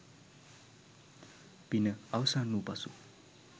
පින අවසන් වූ පසු